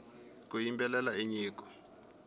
ku yimbelela i nyiko